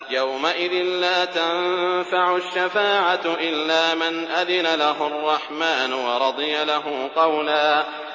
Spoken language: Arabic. يَوْمَئِذٍ لَّا تَنفَعُ الشَّفَاعَةُ إِلَّا مَنْ أَذِنَ لَهُ الرَّحْمَٰنُ وَرَضِيَ لَهُ قَوْلًا